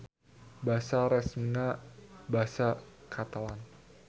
Basa resmina basa Catalan.